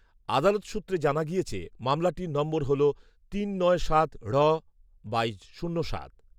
আদালত সূত্রে জানা গিয়েছে, মামলাটির নম্বর হল, তিন নয় সাত ঢ বাই শূন্য সাত